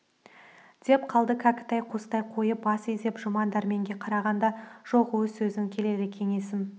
деп қалды кәкітай қостай қойып бас изеп жұман дәрменге қараған да жоқ өз сөзін келелі кеңесім